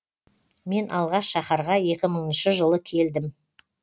мен алғаш шаһарға екі мыңыншы жылы келдім